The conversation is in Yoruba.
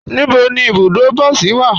Níbo ni ibùdó bọsí wa?